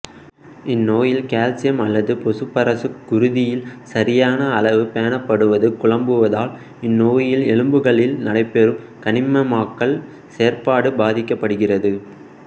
இந்நோயில் calcium அல்லது phosphorus குருதியில் சரியான அளவு பேணப்படுவது குழம்புவதால் இந்நோயில் எலும்புகளில் நடைபெறும் கனிமமாக்கல் செயற்பாடு பாதிக்கப்படுகிறது